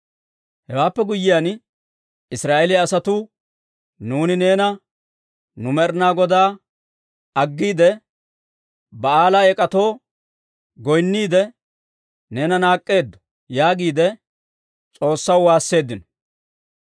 Hewaappe guyyiyaan Israa'eeliyaa asatuu, «Nuuni neena nu Med'inaa Godaa aggiide, Ba'aala eek'atoo goynniide, neena naak'k'eeddo» yaagiide S'oossaw waasseeddino.